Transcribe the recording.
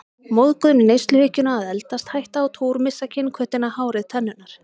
Móðgun við neysluhyggjuna að eldast, hætta á túr, missa kynhvötina, hárið, tennurnar.